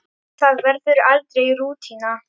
Það verður aldrei rútína.